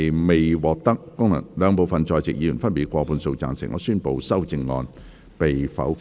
由於議題未獲得兩部分在席議員分別以過半數贊成，他於是宣布修正案被否決。